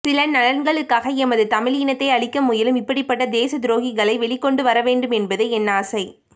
சில நலன்களுக்காக எமது தமிழ் இனத்தை அளிக்க முயலும் இப்படி பட்ட தேச துரோகிகளை வெளிக்கொண்டுவரவேண்டும் என்பதே என் ஆசை